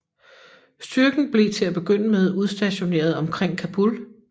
Styrken blev til at begynde med udstationeret omkring Kabul